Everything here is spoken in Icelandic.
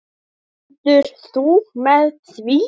Stendur þú með því?